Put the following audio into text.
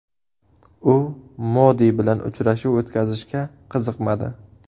U Modi bilan uchrashuv o‘tkazishga qiziqmadi.